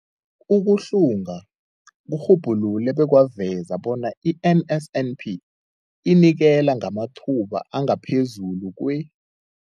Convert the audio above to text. Ukuhlunga kurhubhulule bekwaveza bona i-NSNP inikela ngamathuba angaphezulu kwe-